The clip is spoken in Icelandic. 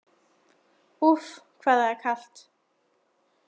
Úff, hvað það er kalt!